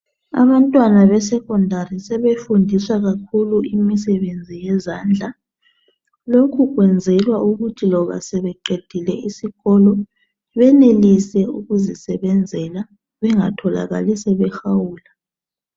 Abantwana beSecondary sebefundiswa kakhulu imisebenzi yezandla lokhu kwenzelwa ukuthi loba sebeqedile isikolo benelise ukuzisebenzela bengatholakali sebehawula